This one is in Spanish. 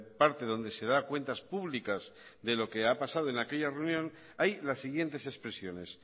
parte donde se da cuentas públicas de lo que ha pasado en aquella reunión hay las siguientes expresiones